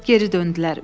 Geri döndülər.